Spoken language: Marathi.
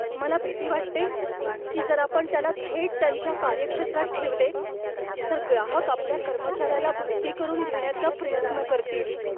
मला भीती वाटते की जर आपण त्याला थेट त्यांच्या कार्यक्षेत्रात ठेवले तर ग्राहक आपल्या कर्मचार्याला भरती करून घेण्याचा प्रयत्न करतील.